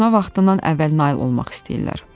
Buna vaxtından əvvəl nail olmaq istəyirlər.